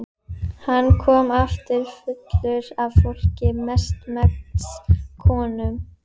Hann kom aftur fullur af fólki, mestmegnis konum.